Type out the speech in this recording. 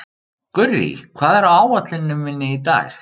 Gurrí, hvað er á áætluninni minni í dag?